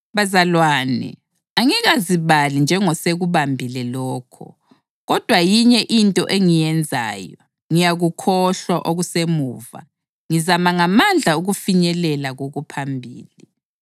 Bazalwane, angikazibali njengosekubambile lokho. Kodwa yinye into engiyenzayo, ngiyakukhohlwa okusemuva ngizama ngamandla ukufinyelela kokuphambili,